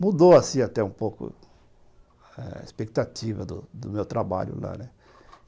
Mudou assim até um pouco a expectativa do do meu trabalho lá.